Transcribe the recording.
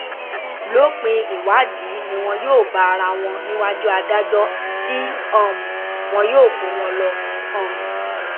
lópin ìwádìí ni wọn yóò bá ara wọn níwájú adájọ tí um wọn yóò kó wọn lọ um